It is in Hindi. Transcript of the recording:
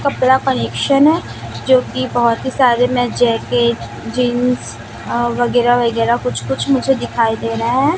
कपड़ा कलेक्शन है जो की बहोत ही सारे में जैकेट जींस अह वगैरा वगैरा कुछ कुछ मुझे दिखाई दे रहा है।